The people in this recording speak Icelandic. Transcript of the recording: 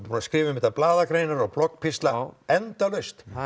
búin að skrifa um þetta blaðagreinar og bloggpistla endalaust